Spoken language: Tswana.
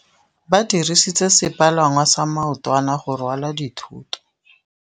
Ba dirisitse sepalangwasa maotwana go rwala dithôtô.